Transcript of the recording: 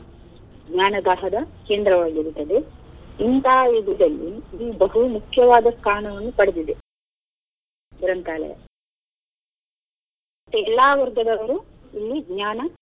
ಜ್ಞಾನ ದ ಕೇಂದ್ರವಾಗಿರುತ್ತದೆ. ಇಂಥ ಬಹು ಮುಖ್ಯವಾದ ಸ್ಥಾನವನ್ನು ಪಡೆದಿದೆ ಗ್ರಂಥಾಲಯ ಮತ್ತೆ ಎಲ್ಲಾ ವರ್ಗದವರು ಇಲ್ಲಿ ಜ್ಞಾನ.